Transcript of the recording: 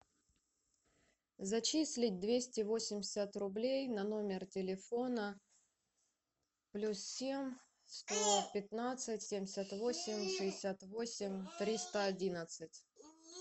зачислить двести восемьдесят рублей на номер телефона плюс семь сто пятнадцать семьдесят восемь шестьдесят восемь триста одиннадцать